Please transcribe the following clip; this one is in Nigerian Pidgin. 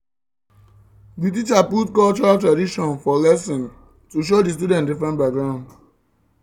the teacher put cultural traditions for for lesson to show the student different background